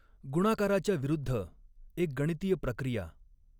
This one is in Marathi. गुणाकाराच्या विरुद्ध एक गणितीय प्रक्रिया.